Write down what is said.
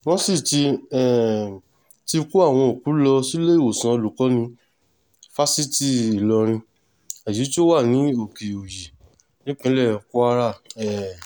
wọ́n sì um ti kó àwọn òkú lọ síléèwòsàn olùkọ́ni fásitì ìlọrin èyí tó wà ní òkè-òyí nípínlẹ̀ kwara um